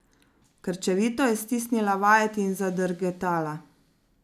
Krčevito je stisnila vajeti in zadrgetala.